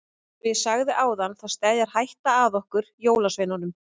Eins og ég sagði áðan þá steðjar hætta að okkur jólasveinunum.